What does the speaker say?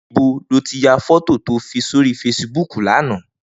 Nibó ló ti yá fòtó tó fi sóri fésibúk làná?